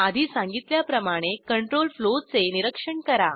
आधी सांगितल्याप्रमाणे कंट्रोल फ्लोचे निरीक्षण करा